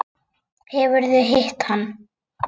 Hefurðu hitt hann?